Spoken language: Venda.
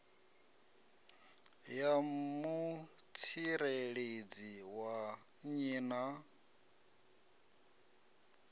ya mutsireledzi wa nnyi na